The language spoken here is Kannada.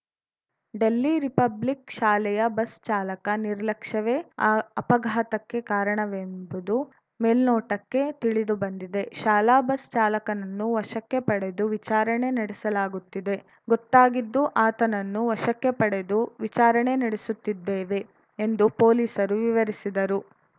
ಡೆಲ್ಲಿ ರಿಪಬ್ಲಿಕ್‌ ಶಾಲೆಯ ಬಸ್‌ ಚಾಲಕ ನಿರ್ಲಕ್ಷ್ಯವೇ ಅ ಅಪಘಾತಕ್ಕೆ ಕಾರಣವೆಂಬುದು ಮೇಲ್ನೋಟಕ್ಕೆ ತಿಳಿದು ಬಂದಿದೆ ಶಾಲಾ ಬಸ್‌ ಚಾಲಕನನ್ನು ವಶಕ್ಕೆ ಪಡೆದು ವಿಚಾರಣೆ ನಡೆಸಲಾಗುತ್ತಿದೆ ಗೊತ್ತಾಗಿದ್ದು ಆತನನ್ನು ವಶಕ್ಕೆ ಪಡೆದು ವಿಚಾರಣೆ ನಡೆಸುತ್ತಿದ್ದೇವೆ ಎಂದು ಪೊಲೀಸರು ವಿವರಿಸಿದರು